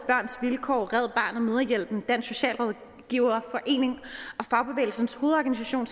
vilkår red barnet mødrehjælpen dansk socialrådgiverforening og fagbevægelsens hovedorganisation